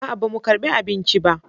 A'a, ba mu karɓi abinci ba